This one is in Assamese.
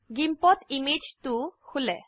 GIMPত ইমেজ 2 খোলে